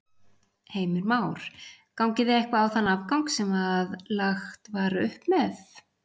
Heimir Már: Gangið þið eitthvað á þann afgang sem að lagt var upp með?